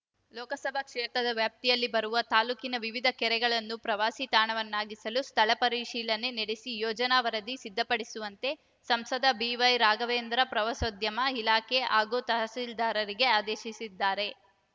ಲೋಕಸಭಾ ಕ್ಷೇತ್ರದ ವ್ಯಾಪ್ತಿಯಲ್ಲಿ ಬರುವ ತಾಲೂಕಿನ ವಿವಿಧ ಕೆರೆಗಳನ್ನು ಪ್ರವಾಸಿ ತಾಣವನ್ನಾಗಿಸಲು ಸ್ಥಳ ಪರಿಶೀಲನೆ ನಡೆಸಿ ಯೋಜನಾ ವರದಿ ಸಿದ್ಧಪಡಿಸುವಂತೆ ಸಂಸದ ಬಿವೈ ರಾಘವೇಂದ್ರ ಪ್ರವಾಸೋದ್ಯಮ ಇಲಾಖೆ ಹಾಗೂ ತಹಸೀಲ್ದಾರ್‌ರಿಗೆ ಆದೇಶಿಸಿದ್ದಾರೆ